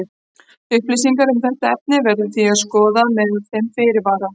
Upplýsingar um þetta efni verður því að skoðast með þeim fyrirvara.